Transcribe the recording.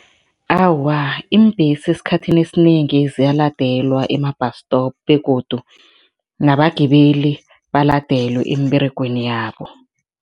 Awa, iimbhesi esikhathini esinengi ziyaladelwe ema-bus stop begodu nabagibeli baladelwe emberegweni yabo.